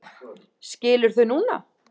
Skilur þau núna.